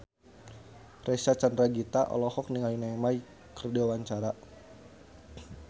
Reysa Chandragitta olohok ningali Neymar keur diwawancara